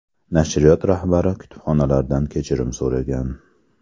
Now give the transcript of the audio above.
Nashriyot rahbari kitobxonlardan kechirim so‘ragan.